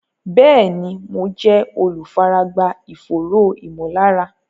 Bẹ́ẹ̀ni, mo jẹ́ olùfaragbá ìfòòró ìmọ̀lára